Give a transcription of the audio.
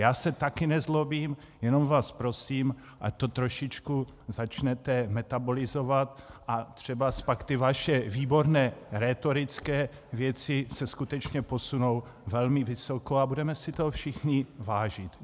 Já se taky nezlobím, jenom vás prosím, ať to trošičku začnete metabolizovat, a třeba pak ty vaše výborné rétorické věci se skutečně posunou velmi vysoko a budeme si toho všichni vážit.